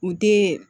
U den